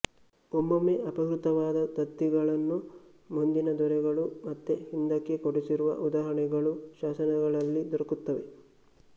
ಒಮ್ಮೊಮ್ಮೆ ಅಪಹೃತವಾದ ದತ್ತಿಗಳನ್ನು ಮುಂದಿನ ದೊರೆಗಳು ಮತ್ತೆ ಹಿಂದಕ್ಕೆ ಕೊಡಿಸಿರುವ ಉದಾಹರಣೆಗಳೂ ಶಾಸನಗಳಲ್ಲಿ ದೊರಕುತ್ತವೆ